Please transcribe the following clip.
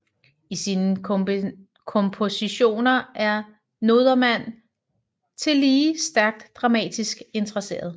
I sine kompositioner er Nodermann tillige stærkt dramatisk interesseret